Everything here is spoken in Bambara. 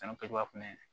San kɛcogoya fɛnɛ